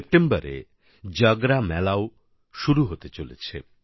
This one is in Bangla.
সেপ্টেম্বরে জাগরা মেলাও আসতে চলেছে